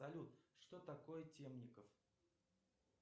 салют что такое темников